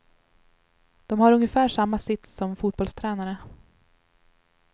De har ungefär samma sits som fotbollstränare.